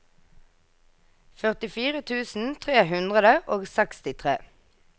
førtifire tusen tre hundre og sekstitre